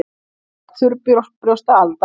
Ávallt þurrbrjósta Alda.